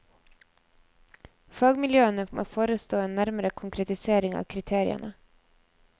Fagmiljøene må forestå en nærmere konkretisering av kriteriene.